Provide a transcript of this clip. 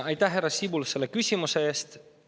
Aitäh, härra Sibul, selle küsimuse eest!